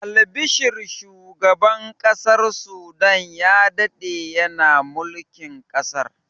Albashir shugaban ƙasar sudan ya daɗe yana mulkar ƙasar